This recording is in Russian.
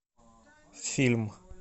фильм